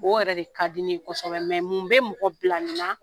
O yɛrɛ de ka di ne ye kosɛbɛ. Mɛ mun bɛ mɔgɔ bila nin na?